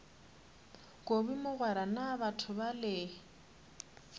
kobi mogwera na batho bale